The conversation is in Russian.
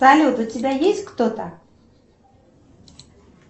салют у тебя есть кто то